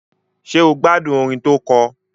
Ṣé o gbádùn orin tó kọ?